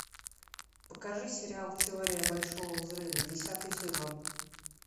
покажи сериал теория большого взрыва десятый сезон